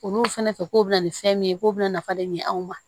Olu fɛnɛ fɛ k'o bɛna ni fɛn min ye k'o bɛ na nafa de ɲini anw ma